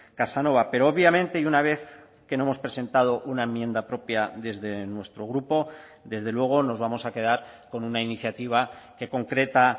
casanova pero obviamente y una vez que no hemos presentado una enmienda propia desde nuestro grupo desde luego nos vamos a quedar con una iniciativa que concreta